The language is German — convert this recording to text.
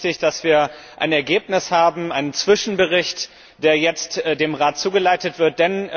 Es ist richtig, dass wir ein Ergebnis haben, einen Zwischenbericht, der jetzt dem Rat zugeleitet wird.